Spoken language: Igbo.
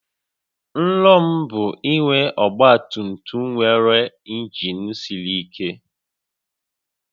Nrọ m bụ inwe ọgba tum tum nwere injin siri ike